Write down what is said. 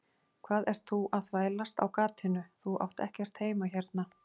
Hvað ert þú að þvælast á gatinu, þú átt ekkert heima hérna.